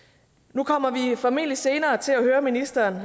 nu kommer vi formentlig senere til at høre ministeren